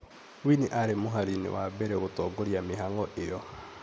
winnie arĩ mũhari-inĩ wa mbere gũtongoria mĩhango ĩyo